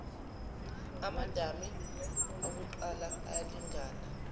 amadami akuqala ayalingana